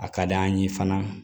A ka d'an ye fana